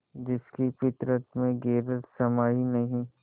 जिसकी फितरत में गैरत समाई नहीं